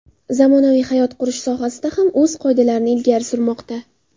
Zamonaviy hayot qurilish sohasida ham o‘z qoidalarini ilgari surmoqda.